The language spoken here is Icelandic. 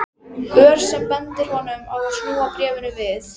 Ör sem bendir honum á að snúa bréfinu við.